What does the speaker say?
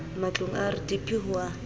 matlong a rdp ho a